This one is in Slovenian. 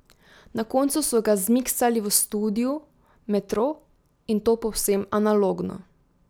Na koncu so ga zmiksali v studiu Metro, in to povsem analogno.